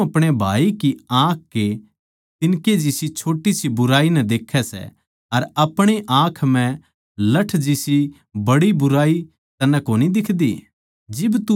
तू क्यूँ अपणे भाई की आँख कै तिन्कै जिसी छोटी सी बुराई नै देख्ये सै अर अपणी आँख म्ह लठ जिसी बड़ी बुराई तन्नै कोनी दिखदी